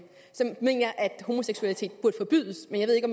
homoseksualitet burde forbydes men jeg ved ikke